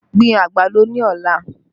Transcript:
Gbin àgbàdo ní ọ̀la!